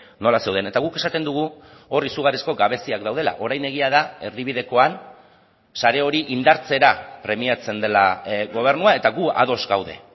nola zeuden eta guk esaten dugu hor izugarrizko gabeziak daudela orain egia da erdibidekoan sare hori indartzera premiatzen dela gobernua eta gu ados gaude